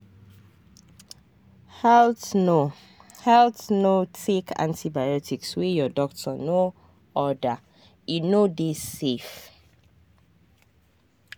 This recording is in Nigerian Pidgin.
haltno haltno take antibiotics wey your doctor no ordere no dey safe.